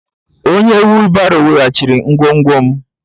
Onye wheelbarrow weghachiri ngwongwo m.